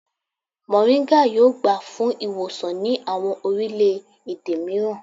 Moringa yoo gba fun iwosan ni awọn orilẹ-ede miiran